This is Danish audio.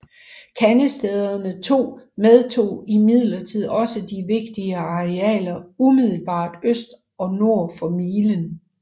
Kandestederne II medtog imidlertid også de vigtige arealer umiddelbart øst og nord for milen